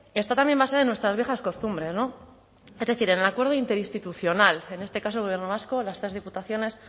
está también más allá de nuestras viejas costumbres no es decir en el acuerdo interinstitucional en este caso gobierno vasco las tres diputaciones